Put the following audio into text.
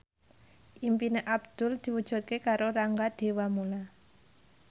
impine Abdul diwujudke karo Rangga Dewamoela